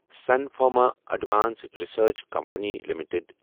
sun Pharma Advanced Research Company limited